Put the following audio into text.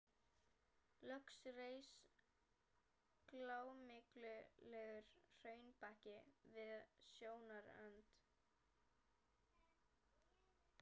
Loks reis grámyglulegur hraunbakki við sjónarrönd.